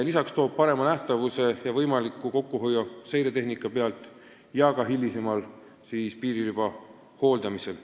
Lisaks saab tänu paremale nähtavusele raha kokku hoida seiretehnika pealt ja ka hilisemal piiririba hooldamisel.